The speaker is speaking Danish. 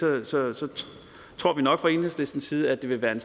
tror vi nok fra enhedslistens side at det vil være en